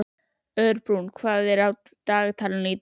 Örbrún, hvað er á dagatalinu í dag?